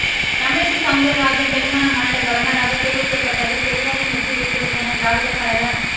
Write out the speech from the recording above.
தமிழிசை சவுந்தரராஜன் தெலங்கானா மாநில கவர்னராக தேர்வு செய்யப்பட்டதில் பெரியாரின் வெற்றி இருக்கிறது என திராவிடர் கழக